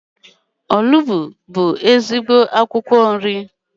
Onugbu bụ ezigbo akwụkwọ nri.